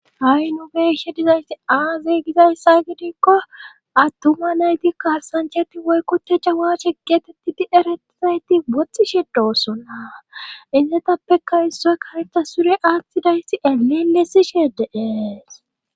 ha7i nubeshe dizayti aazey gizayssa gidikko attuma nayti kaarsanchati woykkote jawashe geetettidi erettizayti woxxi she doossonna issetappeka issoy kanetha sure aathtidayssi eleelesi sheedees